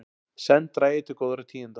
Senn dragi til góðra tíðinda